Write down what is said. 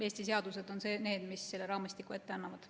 Eesti seadused on need, mis selle raamistiku ette annavad.